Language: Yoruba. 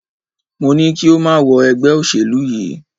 Mo ní kí o má wọ ẹgbẹ́ òṣèlú yìí!